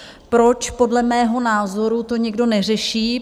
Proč podle mého názoru to někdo neřeší?